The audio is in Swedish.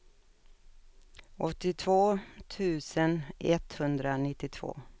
åttiotvå tusen etthundranittiotvå